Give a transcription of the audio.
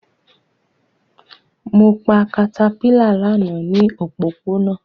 Mo pa caterpillar lana ni opopona